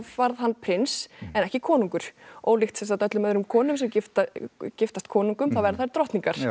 varð hann prins en ekki konungur ólíkt öllum öðrum konum sem giftast giftast konungum þá verða þær drottningar